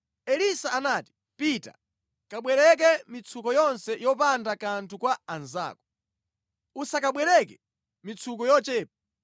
Elisa anati, “Pita kabwereke mitsuko yonse yopanda kanthu kwa anzako. Usakabwereke mitsuko yochepa.